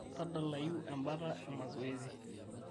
tadalayu embata e mazoezi